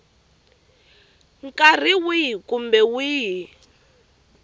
nkarhi wihi kumbe wihi wa